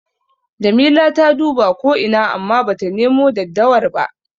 Jamila ta duba ko ina amma bata nemo daddawar ba.